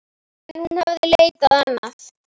En hún hafði leitað annað.